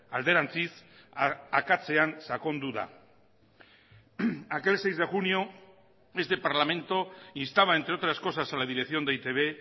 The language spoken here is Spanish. alderantziz akatsean sakondu da aquel seis de junio este parlamento instaba entre otras cosas a la dirección de e i te be